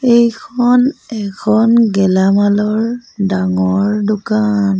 এইখন এখন গেলামালৰ ডাঙৰ দোকান।